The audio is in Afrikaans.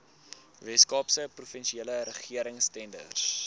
weskaapse provinsiale regeringstenders